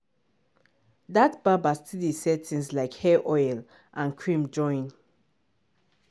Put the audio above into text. that barber still dey sell things like hair oil and cream join.